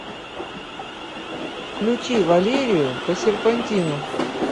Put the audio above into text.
включи валерию по серпантину